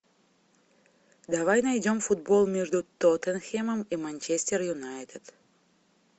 давай найдем футбол между тоттенхэмом и манчестер юнайтед